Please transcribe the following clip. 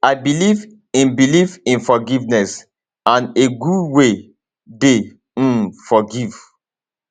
i believe in believe in forgiveness and a god wey dey um forgive